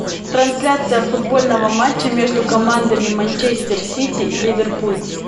трансляция футбольного матча между командами манчестер сити ливерпуль